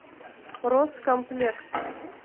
роскомплект